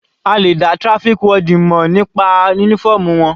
A lè dá traffic warden mọ̀ nípa uniform wọn.